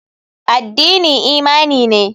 Addini imani ne.